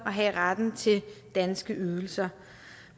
at have retten til danske ydelser